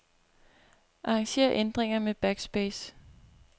Arranger ændringer med backspace.